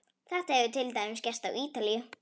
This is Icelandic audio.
Þetta hefur til dæmis gerst á Ítalíu.